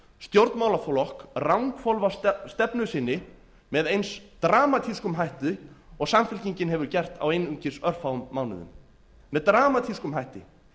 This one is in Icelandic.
stjórnmálaflokk ranghvolfa stefnu sinni með eins dramatískum hætti og samfylkingin hefur gert á einungis örfáum mánuðum með dramatískum hætti